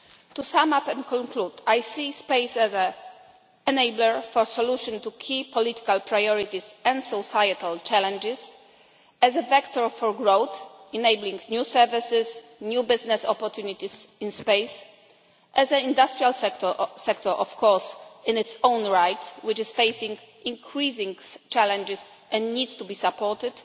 To sum up and conclude, I see space as an enabler for solutions to key political priorities and societal challenges, as a vector for growth, enabling new services, new business opportunities in space, as an industrial sector in its own right, which is facing increasing challenges and needs to be supported,